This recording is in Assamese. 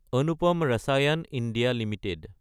Anupam Rasayan India Ltd